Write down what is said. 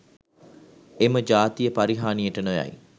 එම ජාතිය පරිහානියට නොයයි